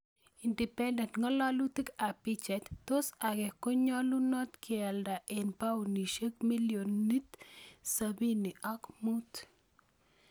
(Independent) Ngalalutik ab pichait, tos Ake konyalunot kealda eng paunisiek milionit 75?